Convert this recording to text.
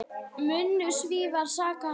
Munu Svíar sakna hans?